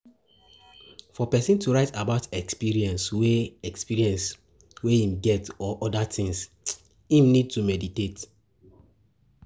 For person to write about experience wey experience wey im get or oda things, im need to meditate